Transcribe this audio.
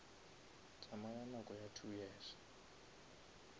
tsamaya nako ya two years